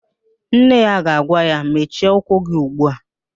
Nne ya ga-agwa ya, mechie ụkwụ gị ugbu a!